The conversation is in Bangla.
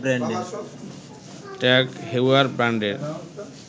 ট্যাগ হেউয়ার ব্র্যান্ডের